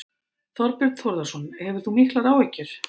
Þorbjörn Þórðarson: Hefur þú miklar áhyggjur?